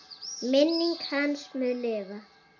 Minning hans mun lifa.